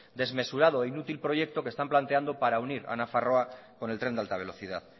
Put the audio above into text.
desmesurado e inútil proyecto que están planteando para unir a nafarroa con el tren de alta velocidad